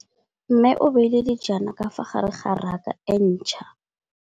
Mmê o beile dijana ka fa gare ga raka e ntšha.